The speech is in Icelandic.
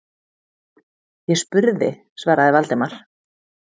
Ég bara spurði- svaraði Valdimar.